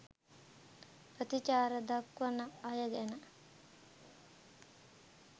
ප්‍රතිචාර දක්වන අයගැන